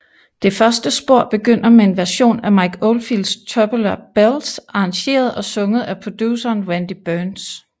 Det første spor begynder med en version af Mike Oldfields Tubular Bells arrangeret og sunget af produceren Randy Burns